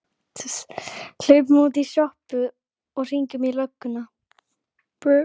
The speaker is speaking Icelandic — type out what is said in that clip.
Hlaupum út í sjoppu og hringjum í lögguna!